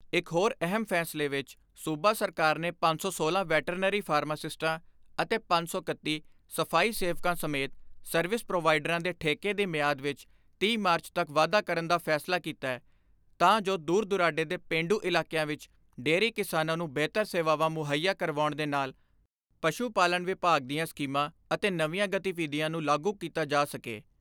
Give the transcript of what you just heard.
ਇਕ ਹੋਰ ਅਹਿਮ ਫੈਸਲੇ ਵਿੱਚ ਸੂਬਾ ਸਰਕਾਰ ਨੇ ਪੰਜ ਸੌ ਸੋਲਾਂ ਵੈਟਰਨਰੀ ਫਾਰਮਾਸਿਸਟਾਂ ਅਤੇ ਪੰਜ ਸੌ ਇਕੱਤੀ ਸਫਾਈ ਸੇਵਕਾਂ ਸਮੇਤ ਸਰਵਿਸ ਪ੍ਰੋਵਾਈਡਰਾਂ ਦੇ ਠੇਕੇ ਦੀ ਮਿਆਦ ਵਿੱਚ ਤੀਹ ਮਾਰਚ ਤੱਕ ਵਾਧਾ ਕਰਨ ਦਾ ਫੈਸਲਾ ਕੀਤੈ ਤਾਂ ਜੋ ਦੂਰ ਦੁਰਾਡੇ ਦੇ ਪੇਂਡੂ ਇਲਾਕਿਆਂ ਵਿੱਚ ਡੇਅਰੀ ਕਿਸਾਨਾਂ ਨੂੰ ਬਿਹਤਰ ਸੇਵਾਵਾਂ ਮੁਹੱਈਆ ਕਰਵਾਉਣ ਦੇ ਨਾਲ ਪਸ਼ੂ ਪਾਲਣ ਵਿਭਾਗ ਦੀਆਂ ਸਕੀਮਾਂ ਅਤੇ ਨਵੀਆਂ ਗਤੀਵਿਧੀਆਂ ਨੂੰ ਲਾਗੂ ਕੀਤਾ ਜਾ ਸਕੇ।